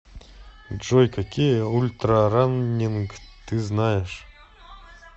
джой какие ультрараннинг ты знаешь